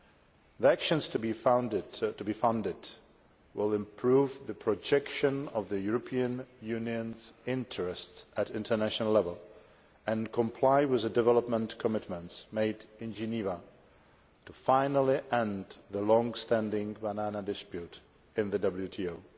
The actions to be funded will improve the projection of the European Union's interests at international level and comply with the development commitments made in Geneva to finally end the long standing banana dispute in the WTO.